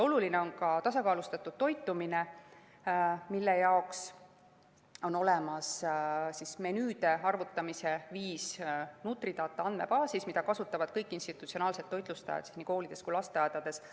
Oluline on ka tasakaalustatud toitumine, mille jaoks on olemas menüüde arvutamise viis NutriData andmebaasis, mida kasutavad kõik institutsionaalsed toitlustajad nii koolides kui ka lasteaedades.